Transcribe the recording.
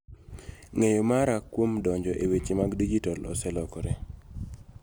Ng�eyo mara kuom donjo e weche mag dijitol oselokore .